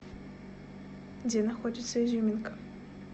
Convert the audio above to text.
где находится изюминка